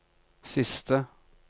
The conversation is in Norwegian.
siste